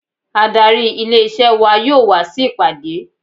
Adarí ilé isẹ́ wa yóò wa sí ìpàdé.